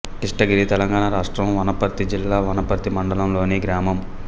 కిస్టగిరి తెలంగాణ రాష్ట్రం వనపర్తి జిల్లా వనపర్తి మండలంలోని గ్రామం